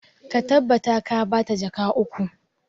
Ka tabbata ka ba ta jaka uku!